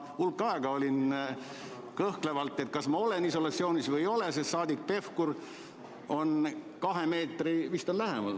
Ma hulk aega olin kõhkleval positsioonil, kas ma jään isolatsiooni või jää, sest saadik Pevkur võib olla kahe meetri kaugusel või lähemal.